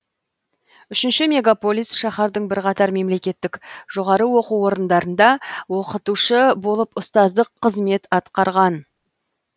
үшінші мегаполис шаһардың бірқатар мемлекеттік жоғары оқу орындарында оқытушы болып ұстаздық қызмет атқарған